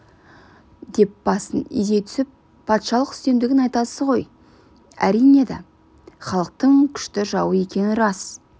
деп басын изей түсіп патшалық үстемдігін айтасыз ғой әрине да халықтың күшті жауы екені рас